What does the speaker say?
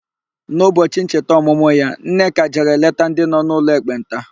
N'ụbọchị ncheta ọmụmụ ya, Nneka jere leta ndị nọ n'ụlọ ekpenta.